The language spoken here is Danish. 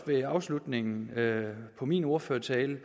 ved afslutningen af min ordførertale